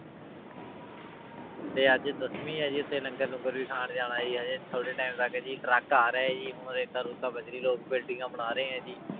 ਤੇ ਅੱਜ ਦਸਵੀਂ ਹੈ ਜੀ ਉੱਥੇ ਲੰਗਰ ਲੂੰਗਰ ਵੀ ਖਾਣ ਜਾਣਾ ਜੀ ਹਜੇ ਥੋੜ੍ਹੇ time ਤੱਕ ਜੀ ਟਰੱਕ ਆ ਰਿਹਾ ਹੈ ਜੀ ਹੁਣ ਰੇਤਾ ਰੂਤਾ ਬਜ਼ਰੀ ਲੋਕ ਬਿਲਡਿੰਗਾਂ ਬਣਾ ਰਹੇ ਹੈ ਜੀ।